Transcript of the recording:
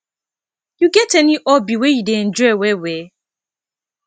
you get any hobby wey you dey enjoy well well